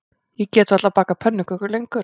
Ég get varla bakað pönnukökur lengur